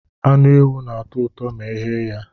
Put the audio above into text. Anụ ewu na-atọ ụtọ ma eghe ya